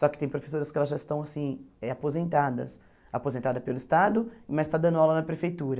Só que tem professoras que elas já estão assim eh aposentadas, aposentadas pelo Estado, mas estão dando aula na prefeitura.